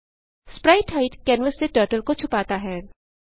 sprite hide canvas से turtle को छुपाता है